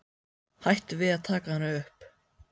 Hætti við að taka hana upp.